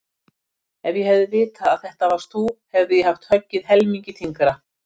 Ef ég hefði vitað að þetta varst þú hefði ég haft höggið helmingi þyngra